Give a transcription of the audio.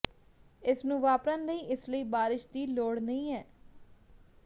ਇਸ ਨੂੰ ਵਾਪਰਨ ਲਈ ਇਸ ਲਈ ਬਾਰਿਸ਼ ਦੀ ਲੋੜ ਨਹੀਂ ਹੈ